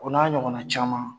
o n'a ɲɔgɔnna caman